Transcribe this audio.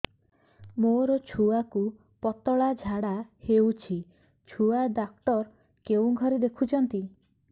ମୋର ଛୁଆକୁ ପତଳା ଝାଡ଼ା ହେଉଛି ଛୁଆ ଡକ୍ଟର କେଉଁ ଘରେ ଦେଖୁଛନ୍ତି